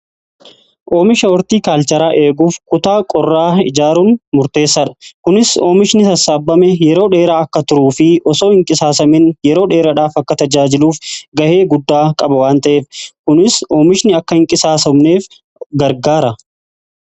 Oomisha ortiikaalcharaa eeguuf kutaa qorraa ijaaruun murteessaa dha. Kunis oomishni sassaabame yeroo dheeraa akka turuu fi osoo hin qisaasamiin yeroo dheeradhaaf akka tajaajiluuf ga'ee guddaa qaba waan ta'eef. Kunis oomishni akka hin qisaasamneef gargaara.